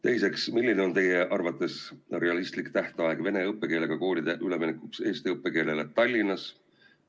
Teiseks, milline on teie arvates realistlik tähtaeg vene õppekeelega koolide üleminekuks eesti õppekeelele Tallinnas?